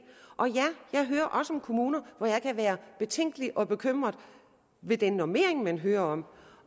og ja jeg hører også om kommuner hvor jeg kan være betænkelig og bekymret ved den normering man hører om